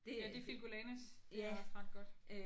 Er det filcolanas? Det er også ret godt